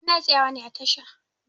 Muna tsayawa ne a tasha.